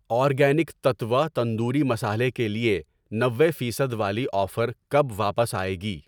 Organic تتوہ تندوری مصالحہ کے لیے نوے فیصد والی آفر کب واپس آئے گی؟